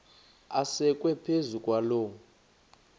asekwe phezu kwaloo